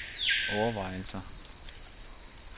overvejelser